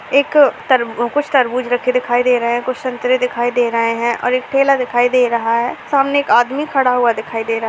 एक तरबू कुछ तरबूज रखे दिखाई दे रहे हैं कुछ संतरे दिखाई दे रहे हैं और एक ठेला दिखाई दे रहा है। सामने एक आदमी खड़ा हुआ दिखाई दे रहा --